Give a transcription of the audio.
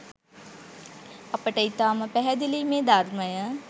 අපට ඉතාම පැහැදිලියි මේ ධර්මය